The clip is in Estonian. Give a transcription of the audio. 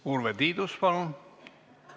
Lugupeetud juhataja!